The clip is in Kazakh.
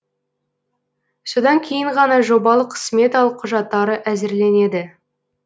содан кейін ғана жобалық сметалық құжаттары әзірленеді